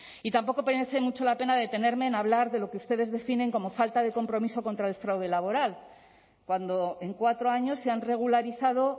y tampoco merece mucho la pena detenerme en hablar de lo que ustedes definen como falta de compromiso contra el fraude laboral cuando en cuatro años se han regularizado